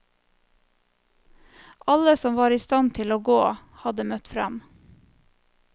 Alle som var i stand til å gå, hadde møtt frem.